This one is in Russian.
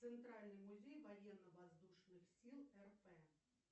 центральный музей военно воздушных сил рп